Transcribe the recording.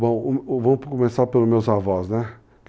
Bom, vamos começar pelos meus avós, né?